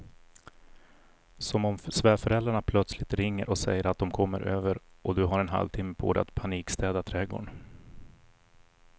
Som om svärföräldrarna plötsligt ringer och säger att de kommer över och du har en halvtimme på dig att panikstäda trädgården.